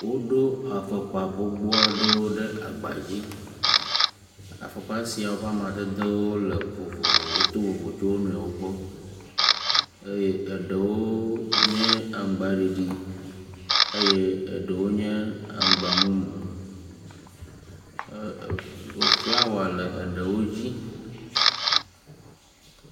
Woɖo afɔkpa gbogbo aɖewo ɖe agba dzi. Afɔkpa siawo ƒe amadedewo le vovovo woto vovo tso wo nɔewo gbɔ eye eɖewo nye aŋgba ɖiɖi eye eɖewo nye aŋgba mumu. E..e flawa le eɖewo dzi.